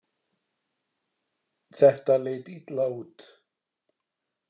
Þetta leit illa út.